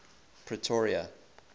pretoria